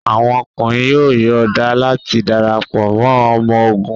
Awọn ọkunrin yoo yọọda lati darapọ mọ ọmọ ogun